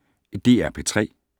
DR P3